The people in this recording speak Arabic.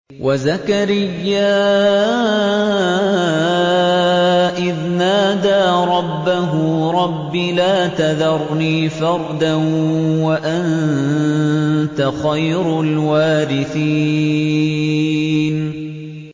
وَزَكَرِيَّا إِذْ نَادَىٰ رَبَّهُ رَبِّ لَا تَذَرْنِي فَرْدًا وَأَنتَ خَيْرُ الْوَارِثِينَ